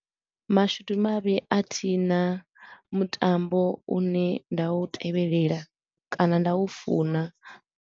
Mashudu mavhi a thi na mutambo u ne nda u tevhelela kana nda u funa.